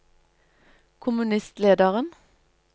kommunistlederen